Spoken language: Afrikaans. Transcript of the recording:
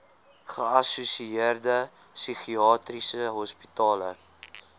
geassosieerde psigiatriese hospitale